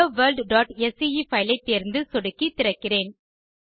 helloworldஸ்கே file ஐ தேர்ந்து சொடுக்கி திறக்கிறேன்